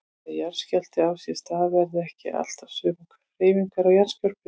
Þegar jarðskjálfti á sér stað verða ekki alltaf sömu hreyfingar á jarðskorpunni.